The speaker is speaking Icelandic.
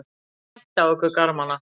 Þeir tættu af okkur garmana.